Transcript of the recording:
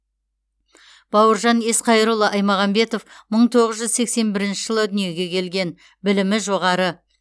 бауыржан есқайырұлы айтмағамбетов мың тоғыз жүз сексен бірінші жылы дүниеге келген білімі жоғары